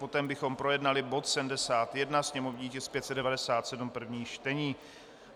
Potom bychom projednali bod 71, sněmovní tisk 597, první čtení.